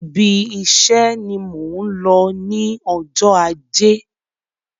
Ibi iṣe ni mò ń lọ ní ọjọ́ ajé.